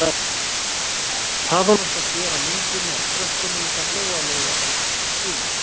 Hvað hún átti að gera á myndinni af krökkunum gat Lóa-Lóa alls ekki skilið.